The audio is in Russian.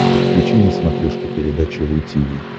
подключи на смотрешке передачу ру ти ви